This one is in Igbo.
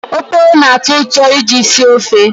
Oporo na-atọ ụtọ iji sie ofe.